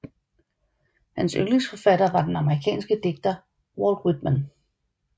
Hans yndlingsforfatter var den amerikanske digter Walt Whitman